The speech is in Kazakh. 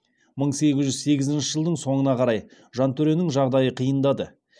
мың сегіз жүз сегізінші жылдың соңына қарай жантөренің жағдайы қиындады